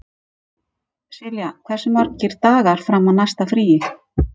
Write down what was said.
Silja, hversu margir dagar fram að næsta fríi?